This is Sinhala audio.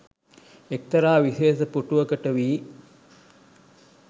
එක්තරා විශේෂ පුටුවකට වී